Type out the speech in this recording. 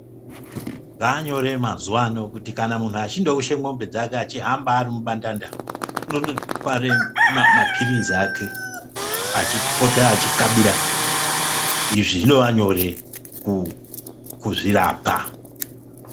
Zvanyore mazuwano kuti kana munhu achindoushe mombe dzake achihamba ari mubandanda unondotware maphirizi ake achipota achikabira. Izvi zvinova nyore kuzvirapa.